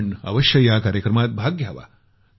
आपण अवश्य या कार्यक्रमात भाग घ्यावा